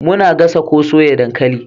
Muna gasa ko soya dankali